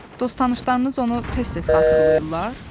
Dost-tanışlarınız onu tez-tez xatırlayırlar?